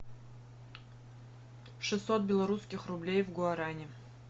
шестьсот белорусских рублей в гуарани